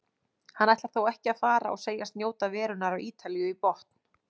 Hann ætlar þó ekki að fara og segist njóta verunnar á Ítalíu í botn.